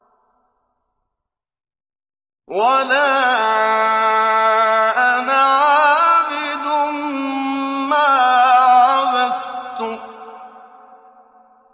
وَلَا أَنَا عَابِدٌ مَّا عَبَدتُّمْ